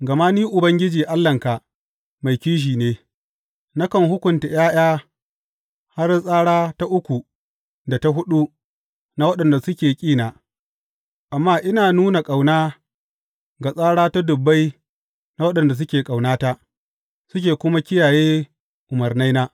Gama ni, Ubangiji Allahnka mai kishi ne, nakan hukunta ’ya’ya har tsara ta uku da ta huɗu na waɗanda suke ƙina, amma ina nuna ƙauna ga tsara dubbai na waɗanda suke ƙaunata, suke kuma kiyaye umarnaina.